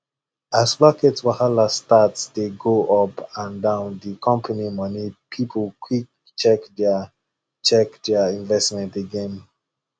as market wahala start dey go up and down the company money people quick check their check their investment again